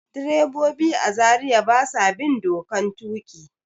Direbobi a Zariya ba sa bin dokan tuƙi.